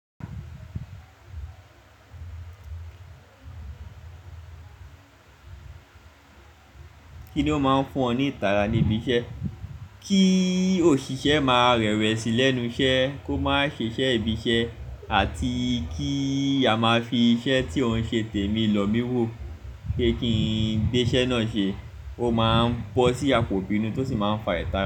Kíni ó máa ń fún ọ ní ìtara ní ibi iṣẹ́? Kí òṣìṣẹ́ máa rẹwesí lẹ́nu iṣẹ́, kó máa ṣiṣẹ́ ibi iṣẹ́ àti kí a máa fi iṣẹ́ tí òun ṣe tèmi lọ mí wò pe kí n gbé iṣẹ́ náà ṣe. Ó máa ń bọ́ sí àpò ìbínú tó sì máa ń fa ìtara.